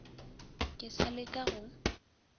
ke sa le ka go